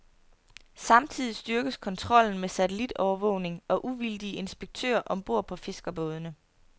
Samtidig styrkes kontrollen med satellitovervågning og uvildige inspektører om bord på fiskerbådene.